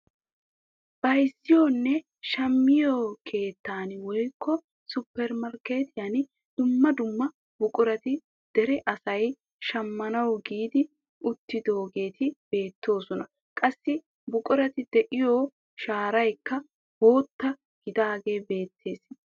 Bayzziyoonne shammiyo keettan woykko supermarkketiyaan dumma dumma buqurati dere asay shammanawu giigi uttidaageti beettoosona. Qassi buqurati de'iyo sharaykka bootta gidaagee beettees.